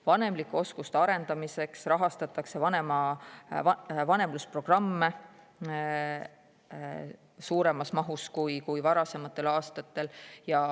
Vanemlike oskuste arendamiseks rahastatakse vanemlusprogramme suuremas mahus kui varasematel aastatel.